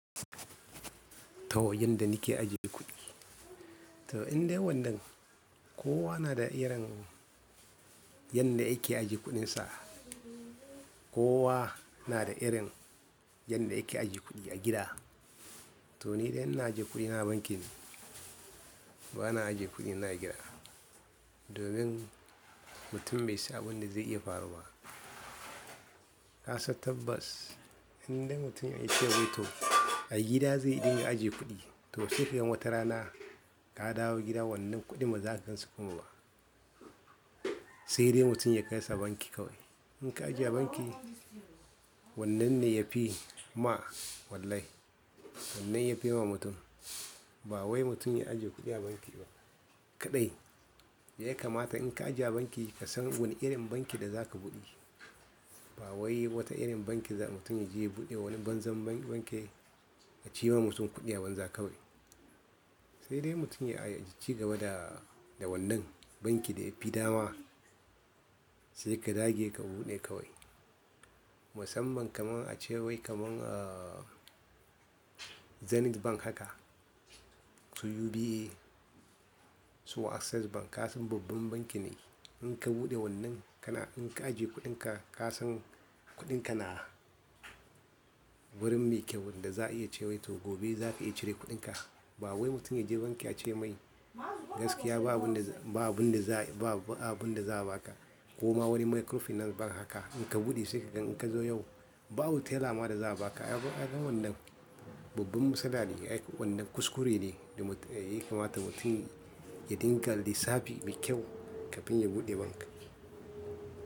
To yanda nike ajiye kuɗi. To indai wannan kowa na da irin yanda yake ajiye kuɗin sa. Kowa na da irin yanda yake ajiye kuɗi a gida. To nidai ina ajiye kuɗina a banki ne bana ajiye kuɗi na a gida. Domin mtum bai san abinda zai iya faruwa ba kasan tabbas indai mutum ya ice wai to a gida zai dinga ajiye kuɗi. To safiyon wata rana ka dawo gida wannan kuɗin baza ka kashe kokobo ba sai dai mutum ya kai sa banki kawai. Inka ajiye a banki wannan ne yafima wllh, wannan yafi ma mutum ba wai mutum ya ajiye kuɗi a banki ba kaɗai ya kamata in ka ajiye a banki kasan wani irin banki da zaka buɗe. Ba wai wata irin banki ba, mutum yaje yabude wani banzan banki, acima mutum kuɗi a banza kawai sai dai mutum ya ci gaba da wannan banki da yafi dama sai ka dage ka buɗe kawai. Musamman kamar a cewai kamar Zenith Bank haka su UBA su Access Bank kasan babban banki ne. In ka buɗe wannan kana in ka ajiye kuɗinka kasan kuɗinka na wurin me kyau wanda za a iya cewa to gabe zaka iya cire kuɗinka. Ba wai mutum ya je banki ya ce mai gaskiya babu abin da babu abin da za a baka. Koma wani microfinance bank haka in ka buɗe sai ka gan in ka zo yau bawani tailer ma da za a baka. Ya gan wannan babban matsala ne wannan kuskure ne da ya kamata mutum ya dinga lissafi mai kyau kafin ya buɗe banki.